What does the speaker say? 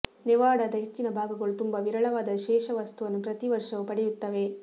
ನೆವಾಡಾದ ಹೆಚ್ಚಿನ ಭಾಗಗಳು ತುಂಬಾ ವಿರಳವಾದ ಶೇಷವಸ್ತುವನ್ನು ಪ್ರತೀ ವರ್ಷವೂ ಪಡೆಯುತ್ತವೆ